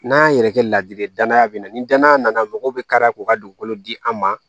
N'an y'an yɛrɛ kɛ ladiri ye danaya bɛ na ni danaya nana mɔgɔw bɛ kari k'u ka dugukolo di an ma